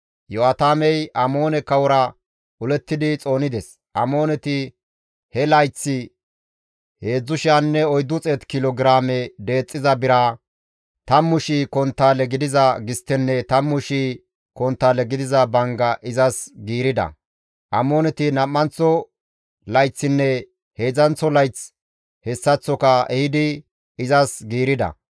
Iyo7aatamey Amoone kawora olettidi xoonides; Amooneti he layththi 3,400 kilo giraame deexxiza bira, 10,000 konttaale gidiza gisttenne 10,000 konttaale gidiza bangga izas giirida. Amooneti nam7anththo layththinne heedzdzanththo layththi hessaththoka ehidi izas giirida.